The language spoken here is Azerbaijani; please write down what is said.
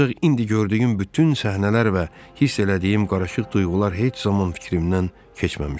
Ancaq indi gördüyüm bütün səhnələr və hiss elədiyim qarışıq duyğular heç zaman fikrimdən keçməmişdi.